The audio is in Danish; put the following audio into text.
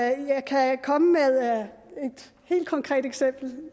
jeg kan komme med et helt konkret eksempel